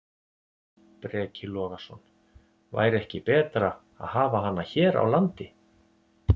Breki Logason: Væri ekki betra að hafa hana hér á landi?